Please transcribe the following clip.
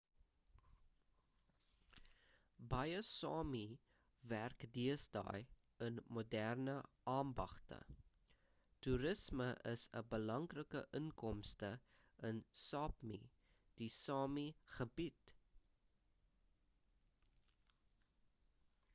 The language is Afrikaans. baie sámi werk deesdae in moderne ambagte toerisme is 'n belangrike inkomste in sápmi die sámi gebied